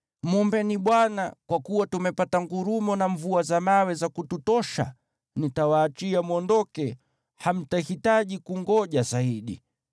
Mwombeni Bwana , kwa kuwa tumepata ngurumo na mvua za mawe za kututosha. Nitawaachia mwondoke; hamtahitaji kungoja zaidi.”